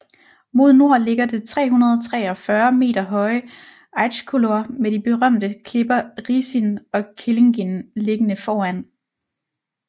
Mod nord ligger det 343 meter høje Eiðiskollur med de berømte klipper Risin og Kellingin liggende foran